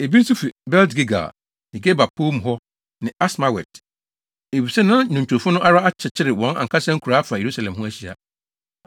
Ebi nso fi Bet-Gilgal ne Geba pɔw mu hɔ ne Asmawet, efisɛ na nnwontofo no ara akyekyere wɔn ankasa nkuraa afa Yerusalem ho ahyia.